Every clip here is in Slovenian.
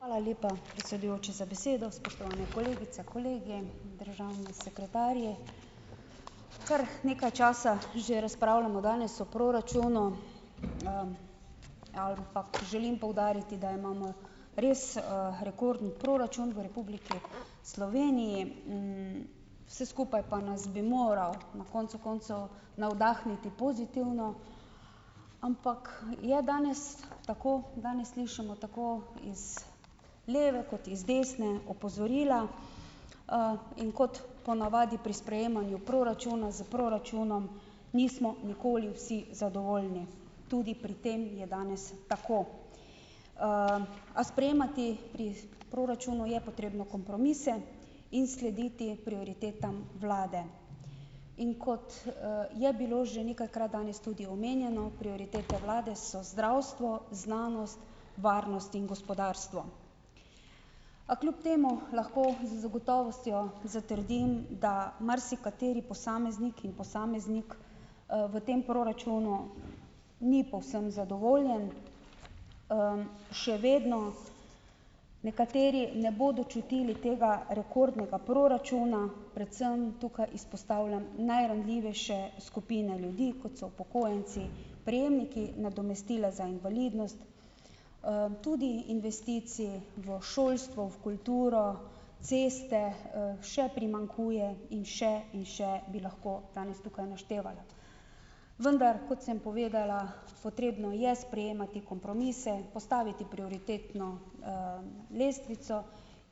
Hvala lepa predsedujoči za besedo. Spoštovane kolegice, kolegi, državni sekretarji, kar nekaj časa že razpravljamo danes o proračunu. Ampak želim poudariti, da imamo res, rekorden proračun v Republiki Sloveniji. Vse skupaj pa nas bi moralo na koncu koncev navdahniti pozitivno. Ampak je danes, tako danes slišimo tako iz leve kot iz desne opozorila, in kot po navadi pri sprejemanju proračuna s proračunom nismo nikoli vsi zadovoljni. Tudi pri tem je danes tako. A sprejemati pri proračunu je potrebno kompromise in slediti prioritetam vlade. In kot, je bilo že nekajkrat danes tudi omenjeno, prioritete vlade so zdravstvo, znanost, varnost in gospodarstvo. A kljub temu lahko z gotovostjo zatrdim, da marsikateri posameznik in posameznik, v tem proračunu ni povsem zadovoljen, še vedno nekateri ne bodo čutili tega rekordnega proračuna, predvsem tukaj izpostavljam najranljivejše skupine ljudi, kot so upokojenci, prejemniki nadomestila za invalidnost, tudi investicij v šolstvo, v kulturo, ceste, še primanjkuje in še in še bi lahko danes tukaj naštevala. Vendar, kot sem povedala, potrebno je sprejemati kompromise, postaviti prioritetno, lestvico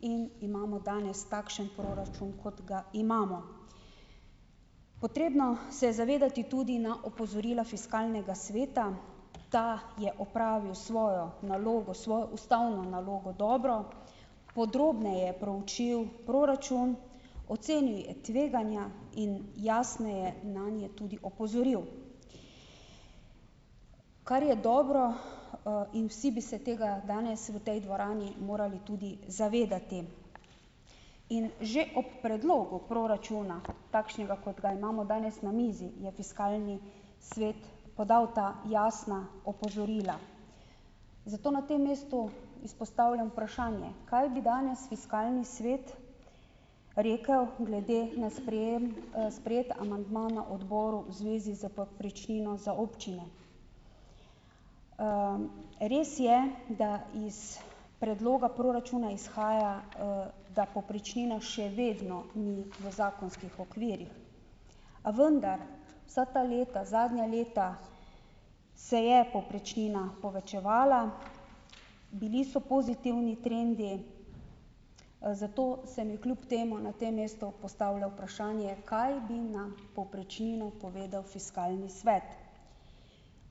in imamo danes takšen proračun, kot ga imamo. Potrebno se je zavedati tudi na opozorila fiskalnega sveta. Ta je opravil svojo nalogo, svojo ustavno nalogo, dobro. Podrobneje proučil proračun, ocenil je tveganja in jasneje nanje tudi opozoril, kar je dobro, in vsi bi se tega danes v tej dvorani morali tudi zavedati in že ob predlogu proračuna, takšnega, kot ga imamo danes na mizi, je fiskalni svet podal ta jasna opozorila, zato na tem mestu izpostavljam vprašanje - kaj bi danes fiskalni svet rekel glede na sprejem, sprejeti amandma na odboru, v zvezi s povprečnino za občine? Res je, da iz predloga proračuna izhaja, da povprečnina še vedno ni v zakonskih okvirih, a vendar, vsa ta leta, zadnja leta, se je povprečnina povečevala, bili so pozitivni trendi, zato se mi kljub temu na tem mestu postavlja vprašanje, kaj bi na povprečnino povedal fiskalni svet?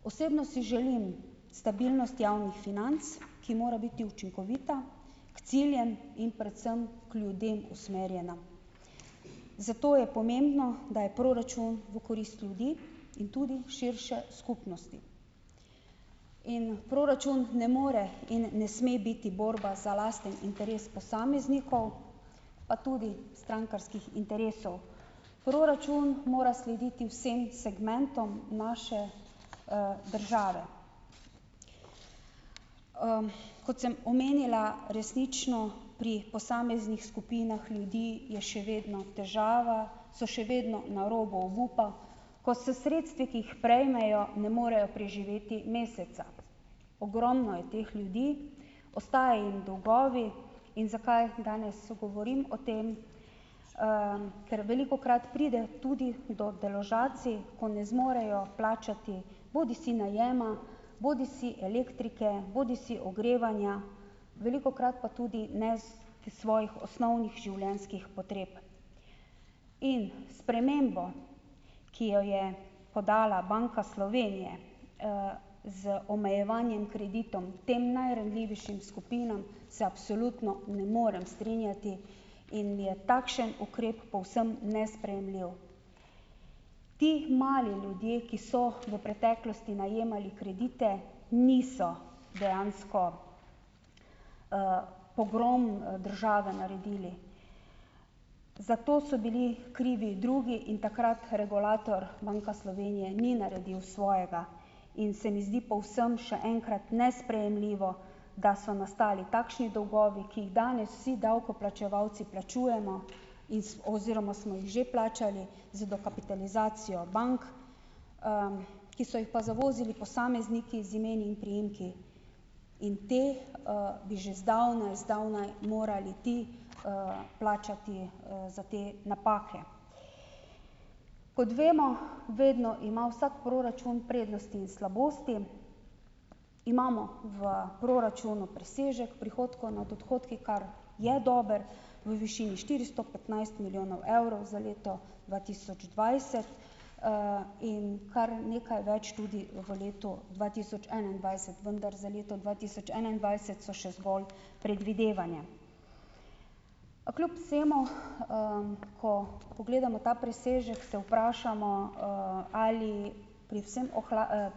Osebno si želim stabilnost javnih financ, ki mora biti učinkovita, k ciljem in predvsem k ljudem usmerjena. Zato je pomembno, da je proračun v korist ljudi in tudi širše, skupnosti in proračun ne more in ne sme biti borba za lasten interes posameznikov, pa tudi strankarskih interesov. Proračun mora slediti vsem segmentom naše, države. Kot sem omenila, resnično, pri posameznih skupinah ljudi je še vedno težava, so še vedno na robu obupa, ko s sredstvi, ki jih prejmejo, ne morejo preživeti meseca. Ogromno je teh ljudi, ostajajo jim dolgovi in zakaj danes govorim o tem? Ker velikokrat pride tudi do deložacij, ko ne zmorejo plačati, bodisi najema, bodisi elektrike, bodisi ogrevanja, velikokrat pa tudi ne svojih osnovnih življenjskih potreb, in spremembo, ki jo je podala Banka Slovenije, z omejevanjem kreditov tem najranljivejšim skupinam, se absolutno ne morem strinjati in je takšen ukrep povsem nesprejemljiv. Ti mali ljudje, ki so v preteklosti najemali kredite, niso dejansko, pogrom, države naredili. Za to so bili krivi drugi in takrat regulator, Banka Slovenije, ni naredil svojega in se mi zdi povsem, še enkrat, nesprejemljivo, da so nastali takšni dolgovi, ki jih danes vsi davkoplačevalci plačujemo in oziroma smo jih že plačali, z dokapitalizacijo bank, ki so jih pa zavozili posamezniki z imeni in priimki in te, bi že zdavnaj, zdavnaj morali ti, plačati, za te napake. Kot vemo, vedno ima vsak proračun prednosti in slabosti. Imamo v proračunu presežek prihodkov nad odhodki, kar je dober v višini štiristo petnajst milijonov evrov, za leto dva tisoč dvajset, in kar nekaj več tudi v letu dva tisoč enaindvajset, vendar za leto dva tisoč enaindvajset so še zgolj predvidevanja. Pa kljub vsemu, ko pogledamo ta presežek, se vprašamo, ali pri vsem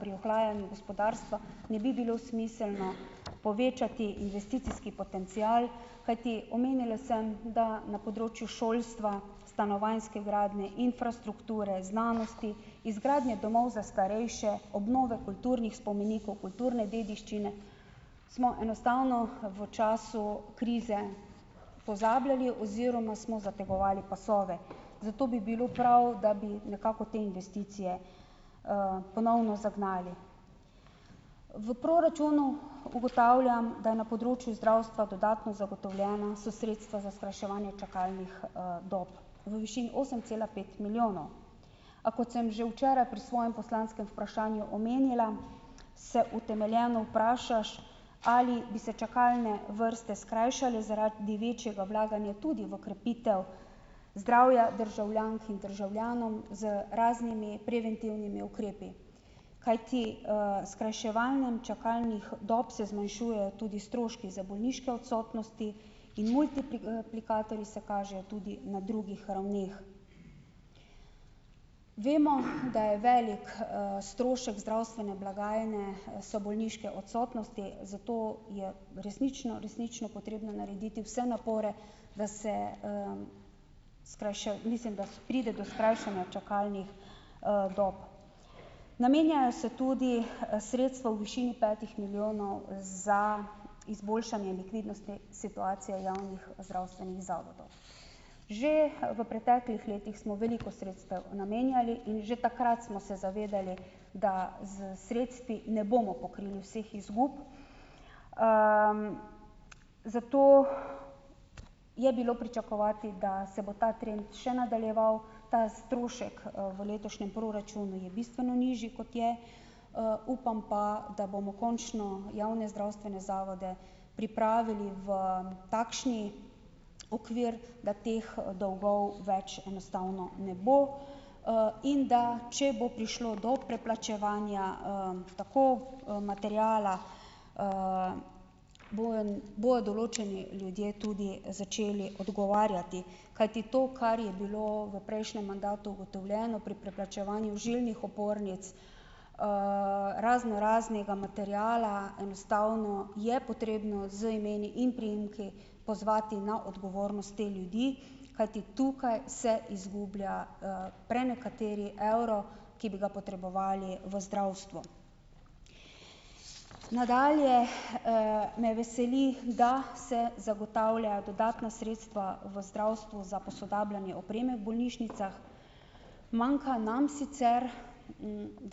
pri ohlajanju gospodarstva ne bi bilo smiselno povečati investicijski potencial, kajti, omenila sem, da na področju šolstva, stanovanjske gradnje, infrastrukture, znanosti, izgradnje domov za starejše, obnove kulturnih spomenikov, kulturne dediščine smo enostavno v času krize pozabljali oziroma smo zategovali pasove. Zato bi bilo prav, da bi nekako te investicije, ponovno zagnali. V proračunu ugotavljam, da na področju zdravstva dodatno zagotovljena so sredstva za skrajševanje čakalnih, dob. V višini osem cela pet milijonov. A kot sem že včeraj pri svojem poslanskem vprašanju omenila, se utemeljeno vprašaš, ali bi se čakalne vrste skrajšale zaradi večjega vlaganja tudi v krepitev zdravja državljank in državljanov z raznimi preventivnimi ukrepi. Kajti, s skrajševanjem čakalnih dob se zmanjšujejo tudi stroški za bolniške odsotnosti in se kažejo tudi na drugih ravneh. Vemo, da je velik, strošek zdravstvene blagajne, so bolniške odsotnosti, zato je resnično, resnično potrebno narediti vse napore, da se, mislim da pride do skrajšanja čakalnih, dob. Namenjajo se tudi, sredstva v višini petih milijonov za izboljšanje likvidnostne situacije javnih zdravstvenih zavodov. Že v preteklih letih smo veliko sredstev namenjali in že takrat smo se zavedali, da s sredstvi ne bomo pokrili vseh izgub, zato je bilo pričakovati, da se bo ta trend še nadaljeval. Ta strošek, v letošnjem proračunu je bistveno nižji, kot je, upam pa, da bomo končno javne zdravstvene zavode pripravili v takšen, okvir, da teh dolgov več enostavno ne bo, in da če bo prišlo do preplačevanja, tako, materiala, bojo bojo določeni ljudje tudi začeli odgovarjati. Kajti to, kar je bilo v prejšnjem mandatu ugotovljeno pri preplačevanju žilnih opornic, raznoraznega materiala, enostavno je potrebno z imeni in priimki pozvati na odgovornost te ljudi. Kajti tukaj se izgublja, prenekateri evro, ki bi ga potrebovali v zdravstvu. Nadalje, me veseli, da se zagotavlja dodatna sredstva v zdravstvu za posodabljanje opreme v bolnišnicah. Manjka nam sicer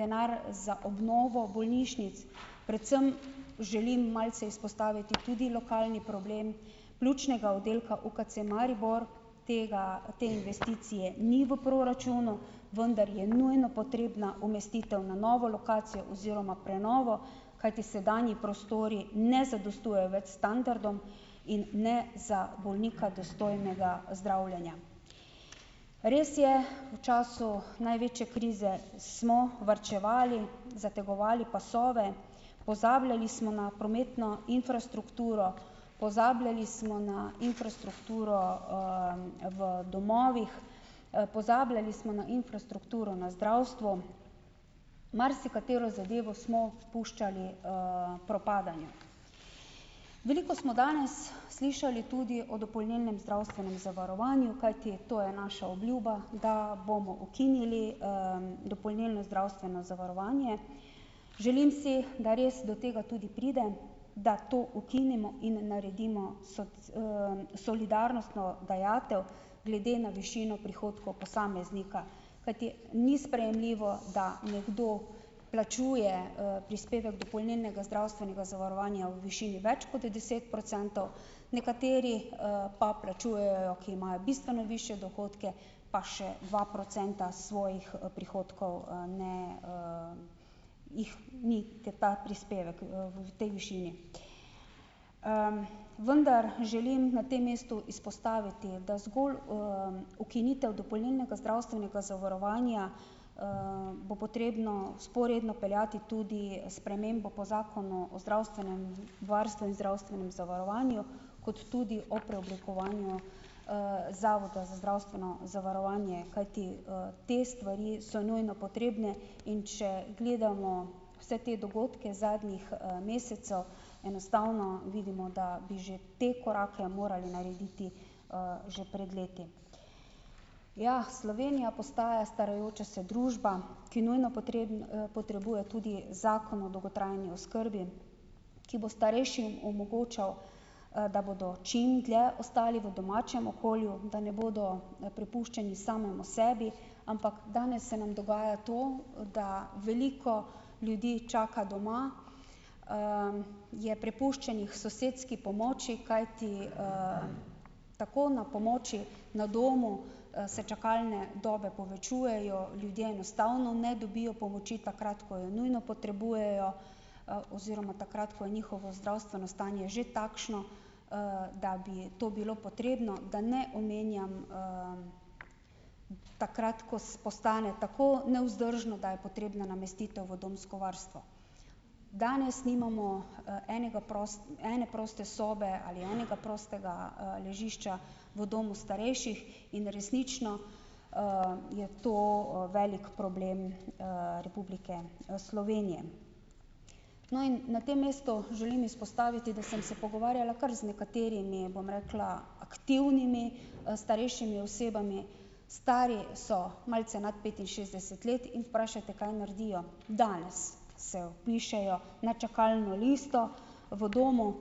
denar za obnovo bolnišnic, predvsem želim malce izpostaviti tudi lokalni problem pljučnega oddelka UKC Maribor. Tega, te investicije ni v proračunu, vendar je nujno potrebna umestitev na novo lokacijo oziroma prenovo, kajti sedanji prostori ne zadostujejo več standardom in ne za bolnika dostojnega zdravljenja. Res je, v času največje krize smo varčevali, zategovali pasove, pozabljali smo na prometno infrastrukturo, pozabljali smo na infrastrukturo, v domovih, pozabljali smo na infrastrukturo na zdravstvu, marsikatero zadevo smo puščali, propadanju. Veliko smo danes slišali tudi o dopolnilnem zdravstvenem zavarovanju, kajti to je naša obljuba, da bomo ukinili, dopolnilno zdravstveno zavarovanje. Želim si, da res do tega tudi pride, da to ukinemo in naredimo solidarnostno dajatev, glede na višino prihodkov posameznika. Kajti ni sprejemljivo, da nekdo plačuje, prispevek dopolnilnega zdravstvenega zavarovanja v višini več kot deset procentov, nekateri, pa plačujejo, ki imajo bistveno višje dohodke pa še dva procenta svojih prihodkov, ne, jih ni, ker ta prispevek, v tej višini. Vendar želim na tem mestu izpostaviti, da zgolj, ukinitev dopolnilnega zdravstvenega zavarovanja, bo potrebno vzporedno peljati tudi spremembo po zakonu o zdravstvenem varstvu in zdravstvenem zavarovanju kot tudi o preoblikovanju, zavoda za zdravstveno zavarovanje. Kajti, te stvari so nujno potrebne, in če gledamo vse te dogodke zadnjih, mesecev, enostavno vidimo, da bi že te korake morali narediti, že pred leti. Ja, Slovenija postaja starajoča se družba, ki nujno potrebuje tudi zakon o dolgotrajni oskrbi, ki bo starejšim omogočal, da bodo čim dlje ostali v domačem okolju, da ne bodo, prepuščeni samemu sebi, ampak danes se nam dogaja to, da veliko ljudi čaka doma, je prepuščenih sosedski pomoči, kajti, tako, na pomoči na domu, se čakalne dobe povečujejo, ljudje enostavno ne dobijo pomoči takrat, ko jo nujno potrebujejo, oziroma takrat, ko je njihovo zdravstveno stanje že takšno, da bi to bilo potrebno, da ne omenjam, takrat, ko postane tako nevzdržno, da je potrebna namestitev v domsko varstvo. Danes nimamo, enega ene proste sobe ali enega prostega, ležišča v domu starejših in resnično, je to, velik problem, Republike, Slovenije. No, in na tem mestu želim izpostaviti, da sem se pogovarjala kar z nekaterimi, bom rekla, aktivnimi, starejšimi osebami. Stari so malce nad petinšestdeset let in vprašajte, kaj naredijo? Danes se vpišejo na čakalno listo v domu,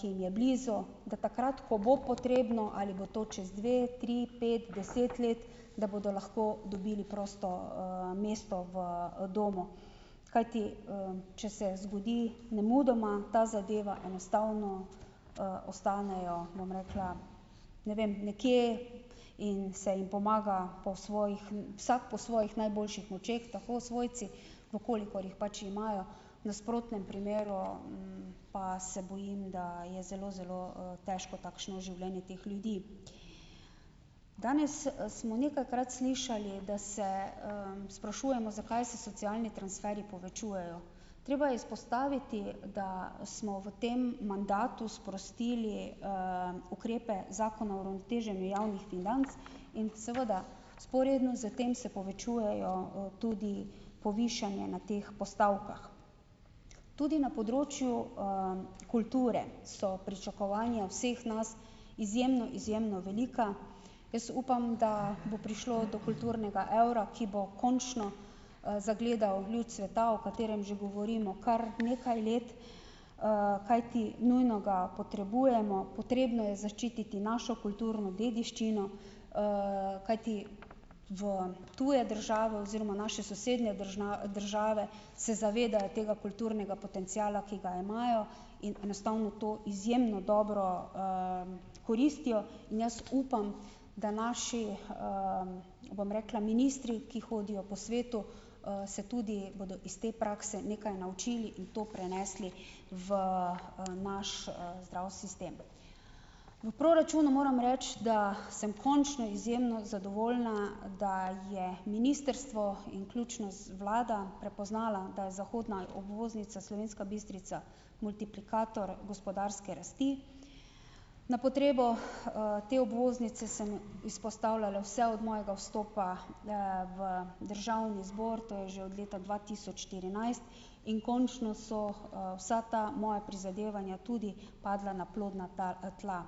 ki jim je blizu, da takrat, ko bo potrebno - ali bo to čez dve tri pet deset let - da bodo lahko dobili prosto, mesto v domu. Kajti, če se zgodi nemudoma ta zadeva, enostavno, ostanejo, bom rekla, ne vem nekje in se jim pomaga po svojih, vsak po svojih močeh tako, svojci najboljših, v kolikor jih pač imajo, v nasprotnem primeru, pa se bojim, da je zelo, zelo, težko takšno življenje teh ljudi. Danes smo nekajkrat slišali, da se, sprašujemo, zakaj se socialni transferji povečujejo. Treba je izpostaviti, da smo v tem mandatu sprostili, ukrepe Zakona o uravnoteženju javnih financ in, seveda, vzporedno s tem se povečujejo tudi povišanje na teh postavkah. Tudi na področju, kulture so pričakovanja vseh nas izjemno, izjemno velika. Jaz upam, da bo prišlo do kulturnega evra, ki bo končno, zagledal luč sveta, o katerem že govorimo kar nekaj let, kajti nujno ga potrebujemo. Potrebno je zaščititi našo kulturno dediščino, kajti v tuje države oziroma naše sosednje države se zavedajo tega kulturnega potenciala, ki ga imajo, in enostavno to izjemno dobro, koristijo in jaz upam, da naši, bom rekla, ministri, ki hodijo po svetu, se tudi bodo iz te prakse nekaj naučili in to prenesli v naš, zdrav sistem. V proračunu moram reči, da sem končno izjemno zadovoljna, da je ministrstvo in ključno z vlada prepoznala, da je zahodna obvoznica Slovenska Bistrica multiplikator gospodarske rasti. Na potrebo, te obvoznice sem izpostavljala vse od mojega vstopa, v državni zbor, to je že od leta dva tisoč štirinajst in končno so, vsa ta moja prizadevanja tudi padla na plodna tal, tla.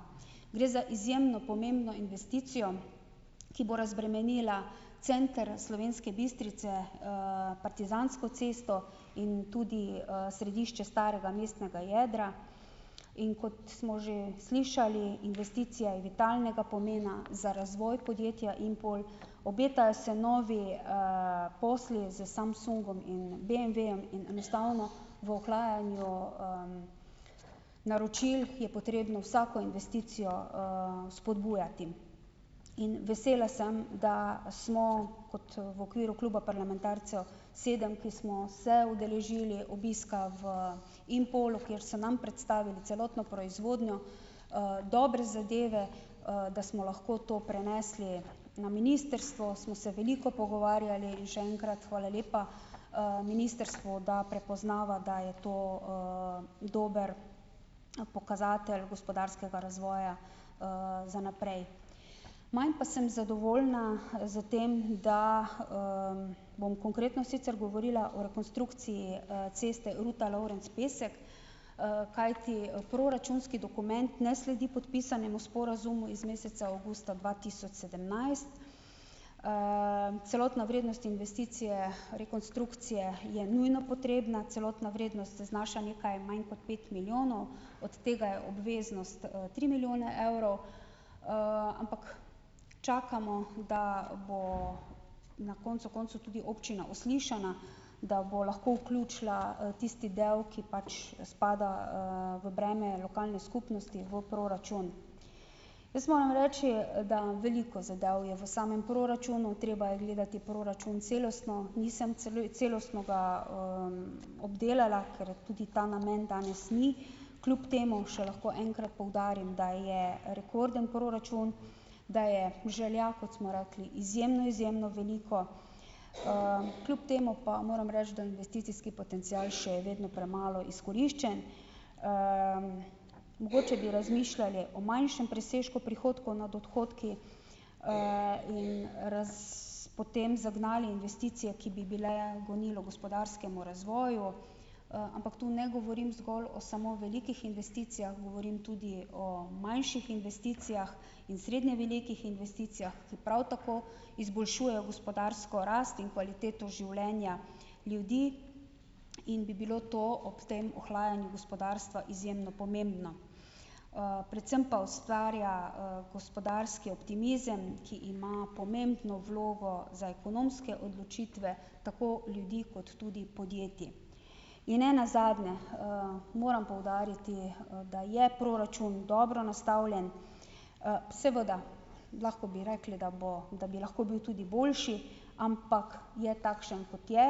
Gre za izjemno pomembno investicijo, ki bo razbremenila center Slovenske Bistrice - Partizansko cesto in tudi, središče starega mestnega jedra. In kot smo že slišali, investicija je vitalnega pomena za razvoj podjetja Impol. Obetajo se novi, posli s Samsungom in BMW-jem in enostavno, v ohlajanju, naročil je potrebno vsako investicijo, spodbujati. In vesela sem, da smo kot v okviru kluba parlamentarcev sedem, ki smo se udeležili obiska v Impolu, kjer so nam predstavili celotno proizvodnjo, dobre zadeve, da smo lahko to prenesli na ministrstvo, smo se veliko pogovarjali, in še enkrat hvala lepa ministrstvu, da prepoznava, da je to, dober pokazatelj gospodarskega razvoja, za naprej. Manj pa sem zadovoljna, s tem, da, bom konkretno sicer govorila o rekonstrukciji, ceste Ruta-Lovrenc-Pesek, kajti proračunski dokument ne sledi podpisanemu sporazumu iz meseca avgusta dva tisoč sedemnajst. Celotna vrednost investicije rekonstrukcije je nujno potrebna, celotna vrednost znaša nekaj manj kot pet milijonov, od tega je obveznost, tri milijone evrov, ampak čakamo, da bo na koncu koncev tudi občina uslišana, da bo lahko vključila tisti del, ki pač spada, v breme lokalne skupnosti v proračun. Jaz moram reči, da veliko zadev je v samem proračunu. Treba je gledati proračun celostno, nisem celostno ga, obdelala, ker tudi ta namen danes ni. Kljub temu še lahko enkrat poudarim, da je rekorden proračun, da je želja, kot smo rekli, izjemno, izjemno veliko. Kljub temu pa moram reči, da investicijski potencial še je vedno premalo izkoriščen. Mogoče bi razmišljali o manjšem presežku prihodkov nad odhodki, in potem zagnali investicije, ki bi bile gonilo gospodarskemu razvoju, ampak to ne govorim zgolj o samo velikih investicijah, govorim tudi o manjših investicijah in srednje velikih investicijah, ki prav tako izboljšujejo gospodarsko rast in kvaliteto življenja ljudi in bi bilo to ob tem ohlajanju gospodarstva izjemno pomembno, predvsem pa ustvarja, gospodarski optimizem, ki ima pomembno vlogo za ekonomske odločitve, tako ljudi kot tudi podjetij. In ne nazadnje, moram poudariti, da je proračun dobro nastavljen, seveda lahko bi rekli, da bo da bi lahko bil tudi boljši, ampak je takšen, kot je.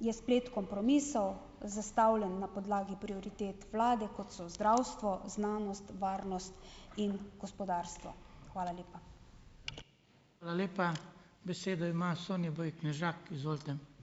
Je splet kompromisov, zastavljen na podlagi prioritet vlade, kot so zdravstvo, znanost, varnost in gospodarstvo. Hvala lepa.